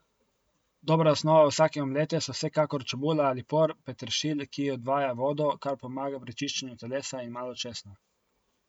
Dobra osnova vsake omlete so vsekakor čebula ali por, peteršilj, ki odvaja vodo, kar pomaga pri čiščenju telesa, in malo česna.